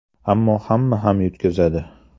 Ammo hamma ham yutqazadi.